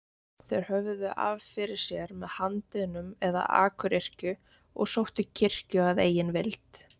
Þeir höfðu af fyrir sér með handiðnum eða akuryrkju og sóttu kirkju að eigin vild.